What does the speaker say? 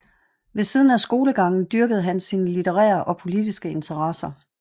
Ved siden af skolegangen dyrkede han sine litterære og politiske interesser